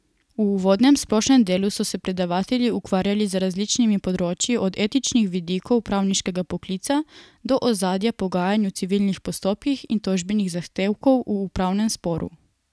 V uvodnem, splošnem delu so se predavatelji ukvarjali z različnimi področji, od etičnih vidikov pravniškega poklica do ozadja pogajanj v civilnih postopkih in tožbenih zahtevkov v upravnem sporu.